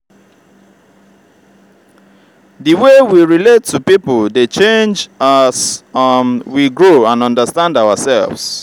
di way we relate to people dey change as um we grow and understand ourselves.